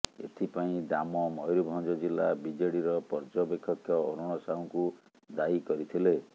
ଏଥିପାଇଁ ଦାମ ମୟୂରଭଞ୍ଜ ଜିଲ୍ଲା ବିଜେଡିର ପର୍ଯ୍ୟବେକ୍ଷକ ଅରୁଣ ସାହୁଙ୍କୁ ଦାୟୀ କରିଥିଲେ